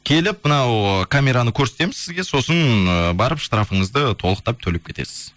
келіп мынау ыыы камераны көрсетеміз сізге сосын ыыы барып штрафыңызды толықап төлеп кетесіз